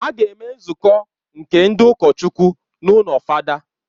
A ga-eme nzukọ nke ndị ụkọchukwu n’ụlọ fada